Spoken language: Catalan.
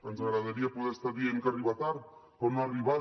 ens agradaria poder estar dient que arriba tard però no ha arribat